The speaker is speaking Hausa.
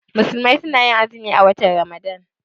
Musulmai suna azumi a watan ramadan.